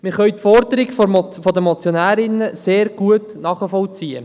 Wir können die Forderung der Motionärinnen sehr gut nachvollziehen.